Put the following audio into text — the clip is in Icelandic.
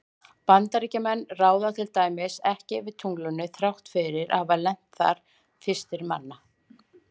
Bandaríkjamenn ráða til dæmis ekki yfir tunglinu þrátt fyrir að hafa lent þar fyrstir manna.